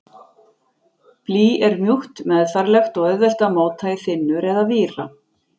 Blý er mjúkt, meðfærilegt og auðvelt að móta í þynnur eða víra.